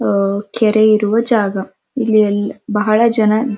ಅಅ ಕೆರೆ ಇರುವ ಜಾಗ ಇಲ್ಲಿ ಎಲ್ ಬಹಳ ಜನ --